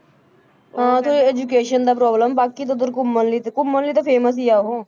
ਹਾਂ ਤੇ education ਦਾ problem ਬਾਕੀ ਤਾਂ ਉੱਧਰ ਘੁੰਮਣ ਲਈ ਤੇ ਘੁੰਮਣ ਲਈ ਤੇ famous ਹੀ ਹੈ ਉਹ